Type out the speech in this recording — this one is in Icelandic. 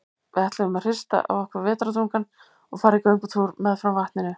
Við ætluðum að hrista af okkur vetrardrungann og fara í göngutúr meðfram vatninu.